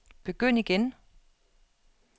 begynd igen